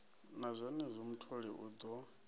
na zwenezwo mutholi u ḓo